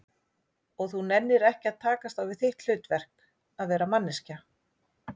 Og þú nennir ekki að takast á við þitt hlutverk, að vera manneskja?